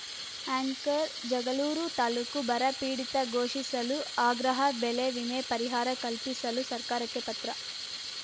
anchor Jagalur taluk ಬರಪೀಡಿತ ಘೋಷಿಸಲು ಆಗ್ರಹ ಬೆಳೆವಿಮೆ ಪರಿಹಾರ ಕಲ್ಪಿಸಲು ಸರ್ಕಾರಕ್ಕೆ ಪತ್ರ